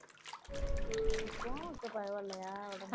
இப்போ இப்போ பரவாயில்லையா